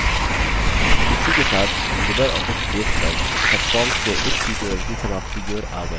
इसी के साथ हम libreoffice base पर सबफॉर्म्स के इस tutorial की समाप्ति की ओर आ गये हैं